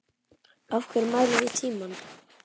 Af hverju mælum við tímann?